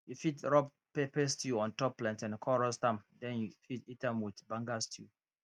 you fit rub pepper stew on top plantain con roast am den you fit eat am with banga stew